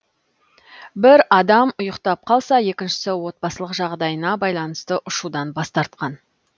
бір адам ұйықтап қалса екіншісі отбасылық жағдайына байланысты ұшудан бас тартқан